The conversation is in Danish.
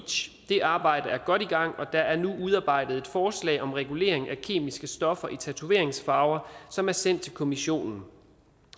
det arbejde er godt i gang og der er nu udarbejdet et forslag om regulering af kemiske stoffer i tatoveringsfarver som er sendt til kommissionen